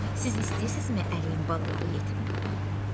Siz istəyirsinizmi əliyin balaları yetim qala?